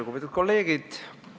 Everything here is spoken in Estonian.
Lugupeetud kolleegid!